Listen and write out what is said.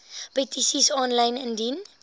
petisies aanlyn indien